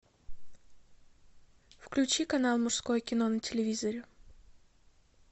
включи канал мужское кино на телевизоре